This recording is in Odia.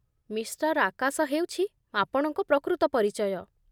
ମିଷ୍ଟର୍ ଆକାଶ ହେଉଛି ଆପଣଙ୍କ ପ୍ରକୃତ ପରିଚୟ